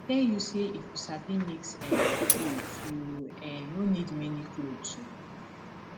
i dey tell you say if you sabi mix um clothes you um no need many clothes oo